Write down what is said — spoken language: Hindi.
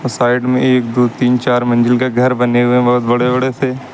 और साइड में एक दो तीन चार मंजिल का घर बने हुए बहुत बड़े बड़े से --